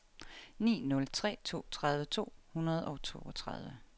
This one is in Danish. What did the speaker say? ni nul tre to tredive to hundrede og toogtredive